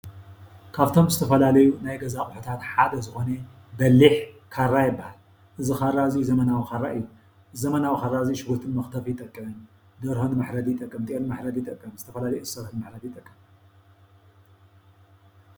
ካብቶም ዝተፈላለዩ ናይ ገዛ ኣቁሕታት ሓደ ዝኮነ በሊሕ ካራ ይበሃል። እዚ ካራ እዙይ ዘመናዊ ካራ እዩ። እዚ ዘመናዊ ካራ እዙይ ሽጉርቲ ንምርክትርፊ ይጠቅም ፣ደርሆ መሕረዲ ይጠቕም ፣ጥየል መሕረዲ ይጠቅም፣ ዝተፈላለዩ እንሰሳ ንምሕራድ ይጠቅም።